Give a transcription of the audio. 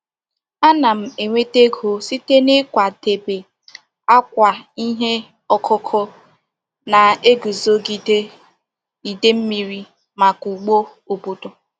Ana m enweta ego site n'ịkwadebe akwa ihe ọkụkụ na-eguzogide idei mmiri maka ugbo obodo.